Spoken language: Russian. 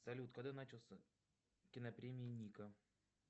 салют когда начался кинопремия ника